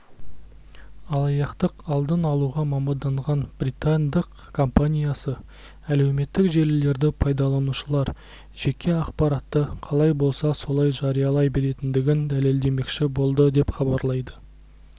алаяқтықтық алдын алуға маманданған британдық компаниясы әлеуметтік желілерді пайдаланушылар жеке ақпаратты қалай болса солай жариялай беретіндігін дәлелдемекші болды деп хабарлайды